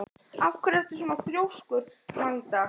Af hverju ertu svona þrjóskur, Magda?